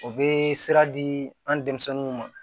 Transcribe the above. O bee sira dii an denmisɛnninw ma